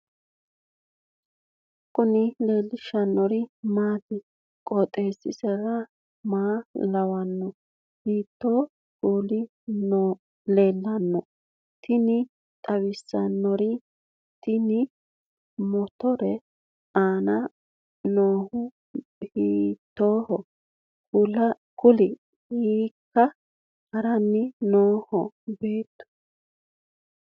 kowiicho leellannori maati ? qooxeessu maa lawaanno ? hiitoo kuuli leellanno ? tini xawissannori tenne motore aana noohu hiitoohoro kulie hiikka haranni nooho beetu